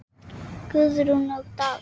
Guðrún og Daði.